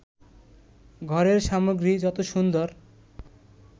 ঘরের সামগ্রী যত সুন্দর